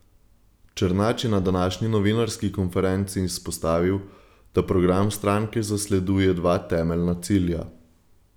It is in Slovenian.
Černač je na današnji novinarski konferenci izpostavil, da program stranke zasleduje dva temeljna cilja.